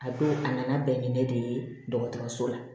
A don a nana bɛn ni ne de ye dɔgɔtɔrɔso la